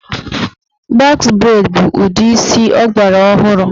Bọx breid bụ ụdị isi ọgbara ọhụrụ.